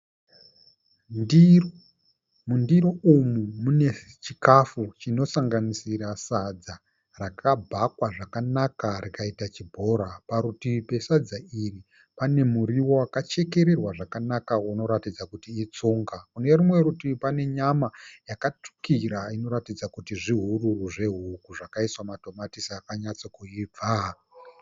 Ndiro, mundiro umu mune chikafu chinosanganisira sadza rakabhakwa zvakanaka rikaita chibhora . Parutivi pesadza iri pane muriwo wakachekererwa zvakanaka unoratidza kuti itsunga. Kune rumwerutivi pane nyama yakatsukira inoratidza kuti zvihururu zvehuku zvakaiswa matomatisi akanyatsokuibva.